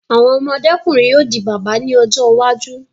Àwọn ọmọdé-kùnrin yóò di bàbá ní ọjọ́ iwájú.